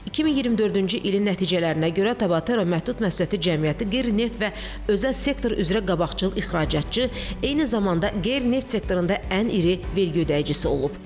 2024-cü ilin nəticələrinə görə Tabatera məhdud məsuliyyətli cəmiyyəti qeyri-neft və özəl sektor üzrə qabaqcıl ixracatçı, eyni zamanda qeyri-neft sektorunda ən iri vergi ödəyicisi olub.